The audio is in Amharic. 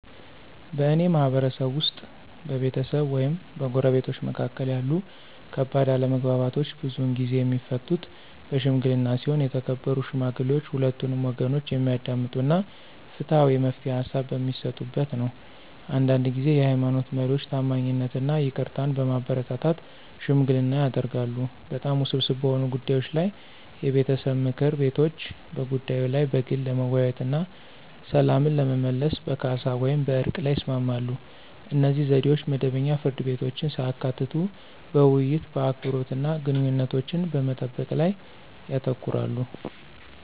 በእኔ ማህበረሰብ ውስጥ፣ በቤተሰብ ወይም በጎረቤቶች መካከል ያሉ ከባድ አለመግባባቶች ብዙውን ጊዜ የሚፈቱት በሺምግሊና ሲሆን የተከበሩ ሽማግሌዎች ሁለቱንም ወገኖች የሚያዳምጡ እና ፍትሃዊ የመፍትሄ ሃሳብ በሚሰጡበት ነው። አንዳንድ ጊዜ የሃይማኖት መሪዎች ታማኝነትን እና ይቅርታን በማበረታታት ሽምግልና ያደርጋሉ። በጣም ውስብስብ በሆኑ ጉዳዮች ላይ የቤተሰብ ምክር ቤቶች በጉዳዩ ላይ በግል ለመወያየት እና ሰላምን ለመመለስ በካሳ ወይም በዕርቅ ላይ ይስማማሉ. እነዚህ ዘዴዎች መደበኛ ፍርድ ቤቶችን ሳያካትቱ በውይይት፣ በአክብሮት እና ግንኙነቶችን በመጠበቅ ላይ ያተኩራሉ።